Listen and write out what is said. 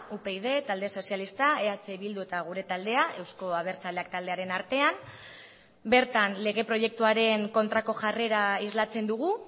upyd talde sozialista eh bildu eta gure taldea euzko abertzaleak taldearen artean bertan lege proiektuaren kontrako jarrera islatzen dugu